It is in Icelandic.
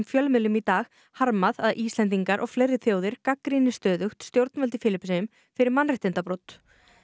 fjölmiðlum í dag harmað að Íslendingar og fleiri þjóðir gagnrýni stöðugt stjórnvöld í Filippseyjum fyrir mannréttindabrot